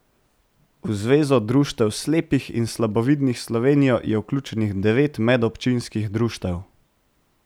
V Zvezo društev slepih in slabovidnih Slovenije je vključenih devet medobčinskih društev.